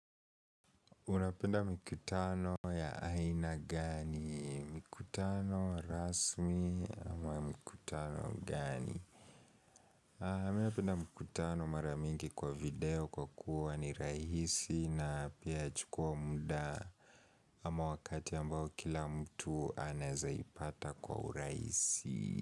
Unapenda mkutano ya aina gani? Mkutano rasmi ama mkutano gani? Mi napenda mkutano mara mingi kwa video kwa kuwa ni rahisi na pia chukua muda ama wakati ambao kila mtu anezaipata kwa urahisi.